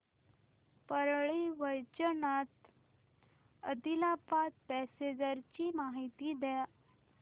Parli Vaijnath Adilabad passenger ची माहिती द्या